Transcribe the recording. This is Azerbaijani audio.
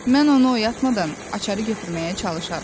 Mən onu oyatmadan açarı götürməyə çalışaram.